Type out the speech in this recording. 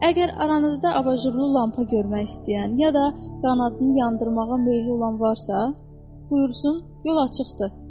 Əgər aranızda abajurlu lampa görmək istəyən, ya da qanadını yandırmağa meyilli olan varsa, buyursun, yol açıqdır.